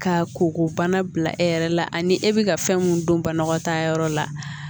Ka koko bana bila e yɛrɛ la ani e bɛ ka fɛn mun don banakɔtaa yɔrɔ la